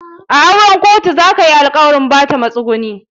A auren kotu za kayi alkawarin Bata masunguni.